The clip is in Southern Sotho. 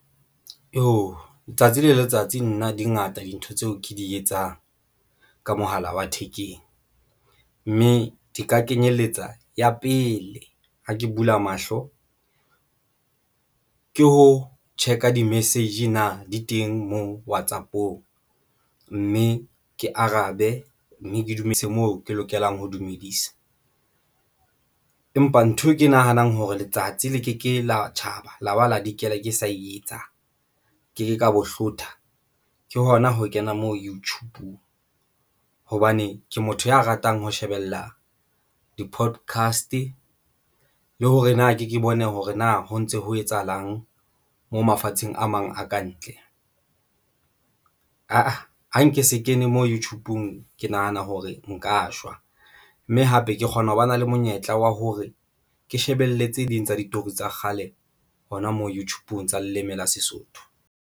Iyoh! letsatsi le letsatsi nna dingata dintho tseo ke di etsang ka mohala wa thekeng mme di ka kenyelletsa ya pele ha ke bula mahlo ke ho check-a di-message na di teng moo WhatsApp-ong mme ke arabe mme ke dumedise moo ke lokelang ho dumedisa. Empa nthwe ke nahanang hore letsatsi le ke ke la tjhaba laba le ya dikela ke sa e etsang ke ka bo hlothe ke hona ho kena moo YouTube-ng hobane ke motho ya ratang ho shebella di-podcast le hore na ke ke bone hore na ho ntso ho etsahalang mo mafatsheng a mang a ka ntle. Ha nke se kene mo YouTube-ng, ke nahana hore nka shwa mme hape ke kgona ho ba na le monyetla wa hore ke shebelle tse ding tsa ditori tsa kgale hona moo, YouTube-ng tsa leleme la Sesotho.